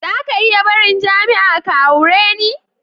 Zaka iya barin jami'a ka aure ni?